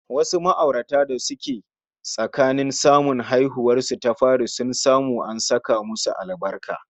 Wasu ma'aurata da suke tsakanin samun haihuwarsu ta fari sun samu an saka musu albarka